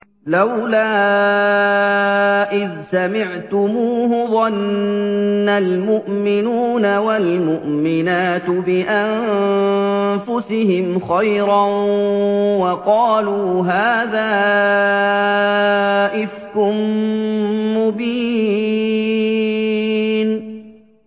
لَّوْلَا إِذْ سَمِعْتُمُوهُ ظَنَّ الْمُؤْمِنُونَ وَالْمُؤْمِنَاتُ بِأَنفُسِهِمْ خَيْرًا وَقَالُوا هَٰذَا إِفْكٌ مُّبِينٌ